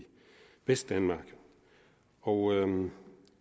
vestdanmark og